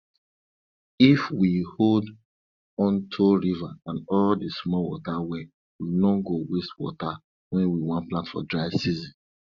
if we hold onto river and all the small water well we no go go waste water when we want plant for dry season